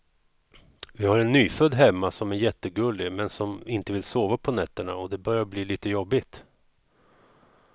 Vi har en nyfödd hemma som är jättegullig, men som inte vill sova på nätterna och det börjar bli lite jobbigt.